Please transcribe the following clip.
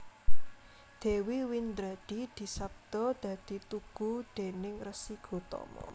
Dewi Windradi disabda dadi tugu déning Resi Gotama